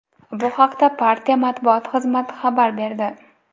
Bu haqda partiya matbuot xizmati xabar berdi.